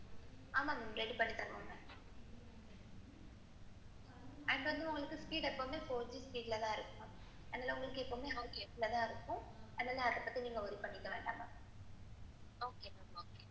அதுல வந்து எப்போதுமே four GB speed தான் இருக்கும். அதெல்லாம் பத்தி நீங் worry பன்னிக்க வேண்டாம்.